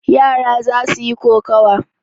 Yara za su yi kokawa.